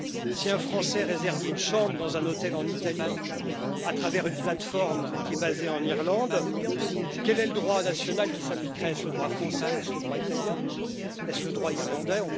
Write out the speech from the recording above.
Si un Français réserve une chambre dans un hôtel en Italie à travers une plateforme qui est basée en Irlande, quel est le droit national qui s'appliquerait? Est ce le droit français, le droit italien ou le droit irlandais?